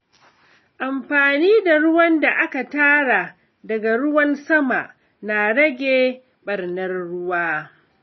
Amfani da ruwan da aka tara daga ruwan sama na rage ɓarnar ruwa.